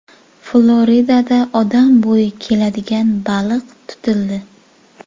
Floridada odam bo‘yi keladigan baliq tutildi.